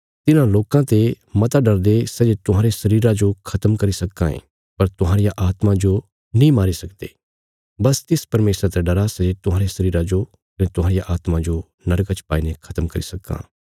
तिन्हां लोकां ते मता डरदे सै जे तुहांरे शरीरा जो खत्म करी सक्कां ये पर तुहांरिया आत्मा जो नीं मारी सकदे बस तिस परमेशरा ते डरा सै जे तुहांरे शरीरा जो कने तुहांरिया आत्मा जो नरका च पाईने खत्म करी सक्कां